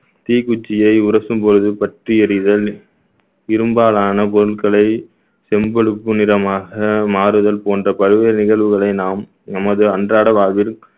தீக்குச்சியை உரசும் பொழுது பற்றி எரிதல் இரும்பாலான பொருட்களை செம்பழுப்பு நிறமாக மாறுதல் போன்ற பல்வேறு நிகழ்வுகளை நாம் நமது அன்றாட வாழ்வில்